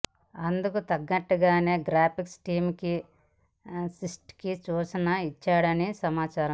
అందుకు తగ్గట్లుగానే graphics team కి స్ట్రిక్ట్ సూచనలు ఇచ్చాడని సమాచారం